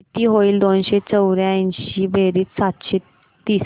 किती होईल दोनशे चौर्याऐंशी बेरीज सातशे तीस